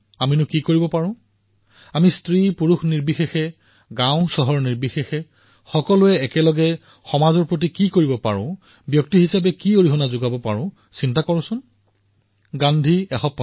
আমি সমাজৰ সকলো লোকৰে সৈতে লগ হৈ সকলো বৰ্গৰ সৈতে লগ হৈ সকলো বয়সৰ সৈতে লগ হৈ গাঁৱেই হওক চহৰেই হওক পুৰুষেই হওক স্ত্ৰীয়েই হওক সকলোৰে সৈতে লগ হৈ সমাজৰ বাবে কি কৰিম এজন ব্যক্তি হিচাপে মই সেই প্ৰয়াসৰ সৈতে কিদৰে জড়িত হম মোৰ তৰফৰ পৰা মূল্য সংযোজন কি হব আৰু সামূহিকতাৰ এক শক্তি আছে